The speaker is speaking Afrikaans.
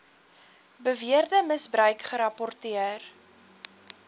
beweerde misbruik gerapporteer